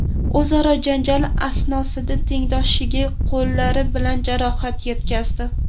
o‘zaro janjal asnosida tengdoshiga qo‘llari bilan jarohat yetkazdi.